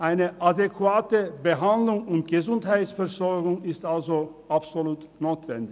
Eine adäquate Behandlung und Gesundheitsversorgung ist also absolut notwendig.